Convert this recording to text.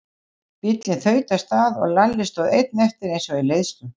Bíllinn þaut af stað og Lalli stóð einn eftir eins og í leiðslu.